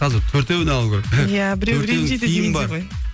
қазір төртеуіне алу керек төртеуінің киімі бар